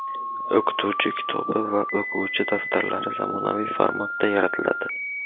o‘qituvchi kitobi va o‘quvchi daftarlari zamonaviy formatda yaratiladi.